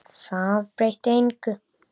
Það breytti engu.